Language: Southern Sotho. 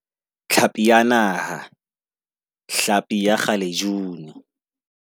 Tlhapi ya Naha, hlapi ya kgalejuni